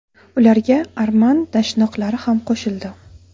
Ularga arman dashnoqlari ham qo‘shildi.